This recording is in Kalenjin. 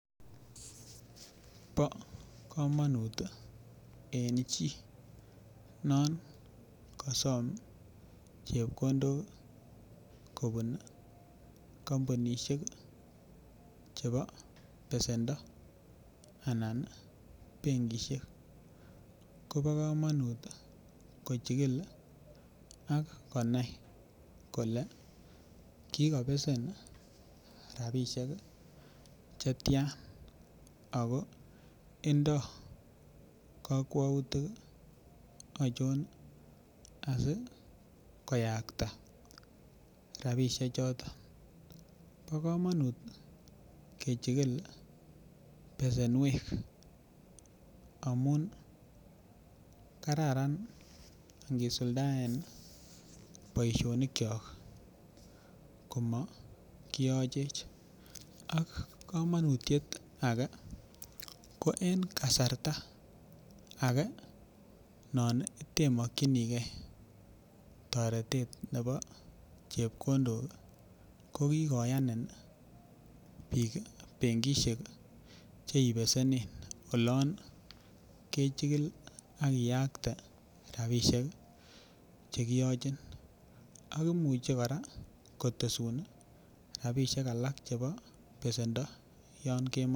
Bo komonut tii en chii non kosom chepkondok kobun komounishek chebo besendo anan benkishek Kobo komonut kochikil ak konai kole kikobesen rabishek chetyan Ako Indo kokweutik ochon asikoyakta rabishek choton. Bo komonut kevhikil besenuek amun kararan ikisundaen boishonik kyok komo kiyochech ak komonutyet age ko en kasarta age non temokinigee toretet nebo chepkondok ko kikoyami benkishek cheiboishen olon kechikil ak iyakte rabishek chekiyoche ak imuche koraa kotesu rabishek chebo besendo yon kemoi.